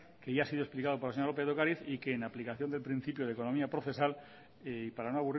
que ya ha sido explicado por la señora lópez de ocariz y que en aplicación del principio de economía procesal y para no